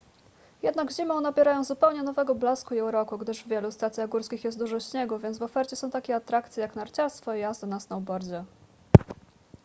jednak zimą nabierają zupełnie nowego blasku i uroku gdyż w wielu stacjach górskich jest dużo śniegu więc w ofercie są takie atrakcje jak narciarstwo i jazda na snowboardzie